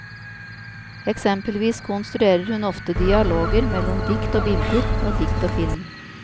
Eksempelvis konstruerer hun ofte dialoger mellom dikt og bilder, dikt og film.